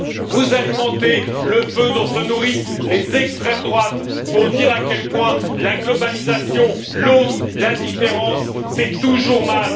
Vous alimentez le feu dont se nourrissent les extrêmes droites pour dire à quel point la globalisation, l'autre, la différence, c'est toujours mal.